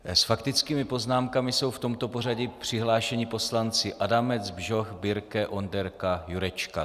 S faktickými poznámkami jsou v tomto pořadí přihlášeni poslanci Adamec, Bžoch, Birke, Onderka, Jurečka.